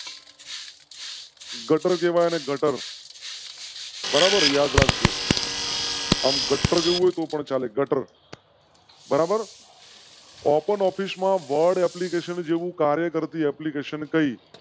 ગટર. કહેવાય એને ગટર બરાબર યાદ રાખ જો . ગટ્ટાર કેવું હોય તો પણ ચાલે. બરાબર open office માં word application જેવું કાર્ય કરતી application કઈ?